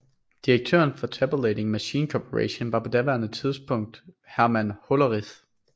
Direktøren for Tabulating Machine Corporation var på daværende tidspunkt Herman Hollerith